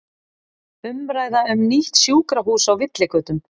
Umræða um nýtt sjúkrahús á villigötum